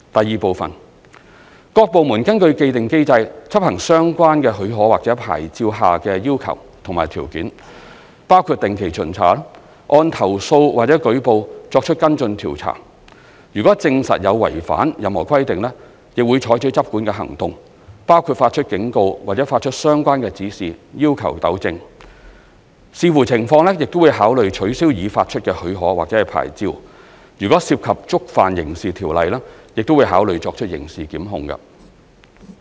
二各部門根據既定機制執行相關許可或牌照下的要求及條件，包括定期巡查、按投訴或舉報作出跟進調查，如證實有違反任何規定，會採取執管行動，包括發出警告或發出相關指示要求糾正，視乎情況亦會考慮取消已發出的許可或牌照，若涉及觸犯刑事條例亦會考慮作出刑事檢控。